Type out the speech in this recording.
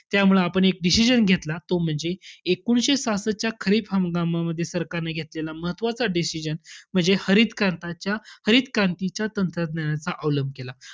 त्यामुळे आपण एक decision घेतला. तो म्हणजे एकोणीसशे सहासष्टच्या खरीप हंगामामध्ये, सरकारने घेतलेला महत्वाचा decision म्हणजे, हरित क्रांताच्या~ हरित क्रांतीच्या तंत्रज्ञानाचा अवलंब केला.